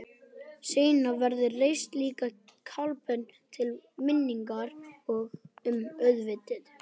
Seinna var reist lítil kapella til minningar um atvikið.